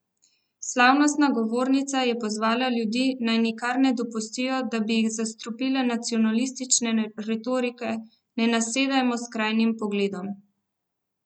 Slavnostna govornica je pozvala ljudi, naj nikar ne dopustijo, da bi jih zastrupile nacionalistične retorike: "Ne nasedajmo skrajnim pogledom.